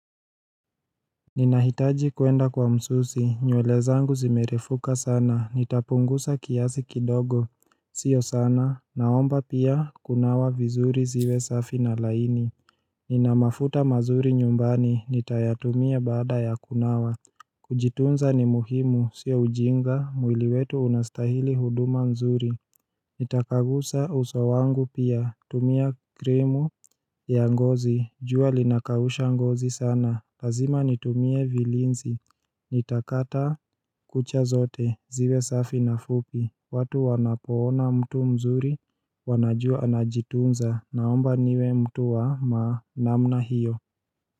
Ninahitaji kuenda kwa msusi, nywele zangu zimerefuka sana, nitapungusa kiasi kidogo Sio sana, naomba pia, kunawa vizuri ziwe safi na laini Ninamafuta mazuri nyumbani, nitayatumia bada ya kunawa Kujitunza ni muhimu, sio ujinga, mwili wetu unastahili huduma nzuri Nitakagusa uso wangu pia, tumia kremu ya ngozi, jua linakausha ngozi sana, lazima nitumie vilinzi Nitakata kucha zote, ziwe safi na fupi, watu wanapoona mtu mzuri, wanajua anajitunza, naomba niwe mtu wa namna hiyo.